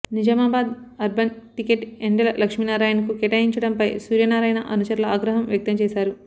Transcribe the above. Nizamabad urban ticket Yendala లక్ష్మీనారాయణకు కేటాయించడంపై సూర్యనారాయణ అనుచరుల ఆగ్రహం వ్యక్తం చేశారు